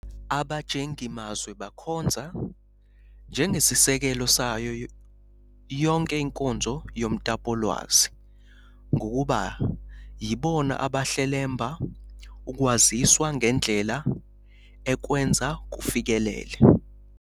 Abajengimazwi bakhonza "njengesisekelo sayo yonke inkonzo yomtapowolwazi, ngokuba yibona abahlelemba ukwaziswa ngendlela ekwenza kufikeleleke".